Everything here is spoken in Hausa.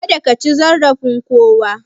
Kada kaci zarafin kowa